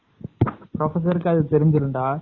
Professor கு அது தெரிஞ்சுரும்டா.